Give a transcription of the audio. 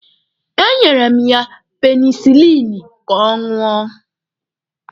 E nyere m ya penisilini ka ọ ṅụọ.